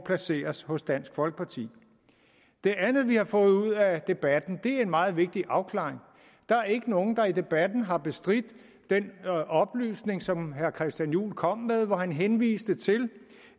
placeres hos dansk folkeparti det andet vi har fået ud af debatten er en meget vigtig afklaring der er ikke nogen der i debatten har bestridt den oplysning som herre christian juhl kom med hvor han henviste til